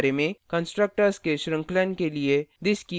constructors के श्रृंखलन के लिए this कीवर्ड का उपयोग करने के बारे में